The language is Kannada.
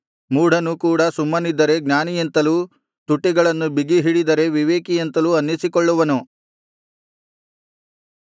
ಮೂಢನು ಕೂಡ ಸುಮ್ಮನಿದ್ದರೆ ಜ್ಞಾನಿಯೆಂತಲೂ ತುಟಿಗಳನ್ನು ಬಿಗಿಹಿಡಿದರೆ ವಿವೇಕಿಯೆಂತಲೂ ಅನ್ನಿಸಿಕೊಳ್ಳುವನು